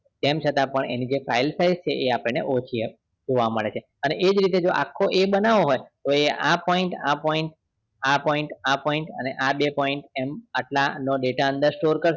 તેમ છતાં પણ એ જે file size છે એ આપણે ઓળખી ઓછી જોવા મળે છે એજ રીતે આખો જો એ બનાવો હોય તો એ આ point આ point આ point આ point આ point બંને point આટલાનો data અંદ store કરશે